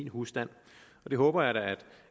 husstanden jeg håber da